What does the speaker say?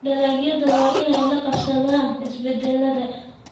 Dalagyadu waa inay la qabsadaan isbeddellada.